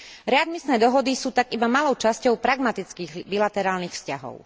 Readmisné dohody sú tak iba malou časťou pragmatických bilaterálnych vzťahov.